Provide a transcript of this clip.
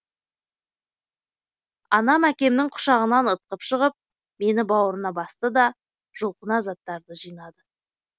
анам әкемнің құшағынан ытқып шығып мені бауырына басты да жұлқына заттарды жинады